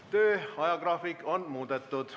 Tööajagraafikut on muudetud.